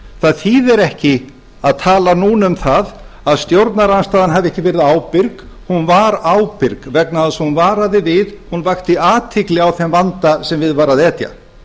það þýðir ekki að tala núna um það að stjórnarandstaðan hafi ekki verið ábyrg hún var ábyrg vegna þess að hún varaði við hún vakti athygli á þeim vanda sem við var að etja